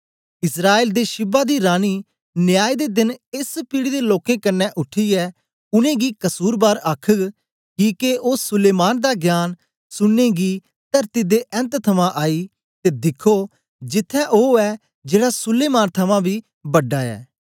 इस्राएल दे शीबा दी रानी न्याय दे देन एस पीढ़ी दे लोकें कन्ने उठीयै उनेंगी कसुरबार आखघ किके ओ सुलैमान दा ज्ञान सुननें गी तरती दे ऐन्त थमां आई ते दिखो जिथें ओ ऐ जेड़ा सुलैमान थमां बी बड़ा ऐ